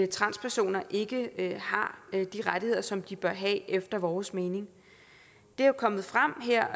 transpersoner ikke har de rettigheder som de bør have efter vores mening det er jo kommet frem her